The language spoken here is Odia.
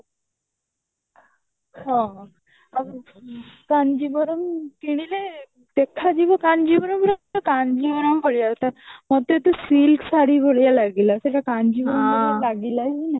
ହଁ ଆଉ କାଞ୍ଜିବରମ କିଣିଲେ ଦେଖାଯିବ କାଞ୍ଜିବରମ କାଞ୍ଜିବରମ ତତେ ଯଦି silk ଶାଢୀ ଭଲ ଲାଗିଲା ସେଟା କାଞ୍ଜିବର୍ମ ଭଳି ଲାଗିଲା ହିଁ ନାହିଁ